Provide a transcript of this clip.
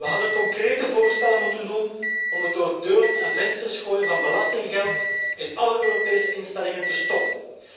We hadden concrete voorstellen moeten doen om het door deuren en vensters gooien van belastinggeld in alle Europese instellingen te stoppen.